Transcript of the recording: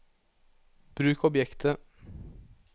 bruk objektet